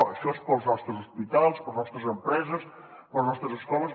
això és per als nostres hospitals per a les nostres empreses per a les nostres escoles